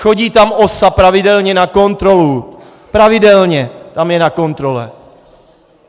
Chodí tam OSA pravidelně na kontrolu, pravidelně tam je na kontrole.